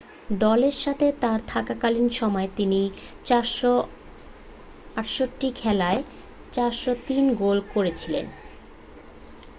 দলের সাথে তাঁর থাকাকালীন সময়ে তিনি 468 খেলায় 403 গোল করেছিলেন